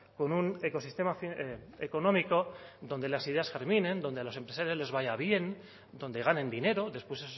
con un ecosistema económico donde las ideas germinen donde a los empresarios les vaya bien donde ganen dinero después